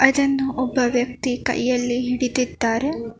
ಅದನ್ನು ಒಬ್ಬ ವ್ಯಕ್ತಿ ಕೈಯಲ್ಲಿ ಹಿಡಿದಿದ್ದಾರೆ.